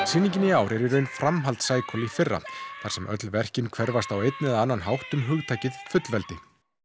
sýningin í ár er í raun framhald Cycle í fyrra þar sem öll verkin hverfast á einn eða annan hátt um fullveldið